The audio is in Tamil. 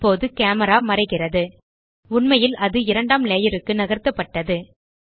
இப்போது கேமரா மறைகிறது உண்மையில் அது இரண்டாம் லேயர் க்கு நகர்த்தப்பட்டது